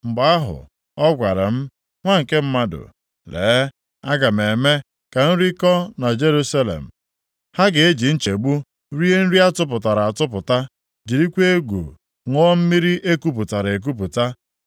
Mgbe ahụ, ọ gwara m, “Nwa nke mmadụ, lee, aga m eme ka nri kọ na Jerusalem; ha ga-eji nchegbu rie nri a tụpụtara atụpụta, jirikwa egwu ṅụọ mmiri e kupụtara ekupụta.